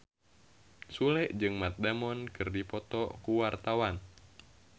Sule jeung Matt Damon keur dipoto ku wartawan